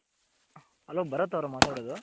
Hello Bharat ಅವ್ರ ಮಾತಾಡೋದು.